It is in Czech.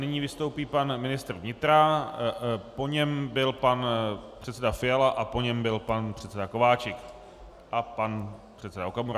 Nyní vystoupí pan ministr vnitra, po něm byl pan předseda Fiala a po něm byl pan předseda Kováčik a pan předseda Okamura.